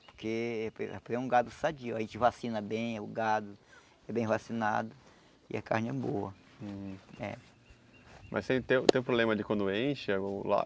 Porque porque porque é um gado sadio, aí a gente vacina bem o gado, é bem vacinado e a carne é boa, é. Mas se tem tem problema de quando enche ou lá?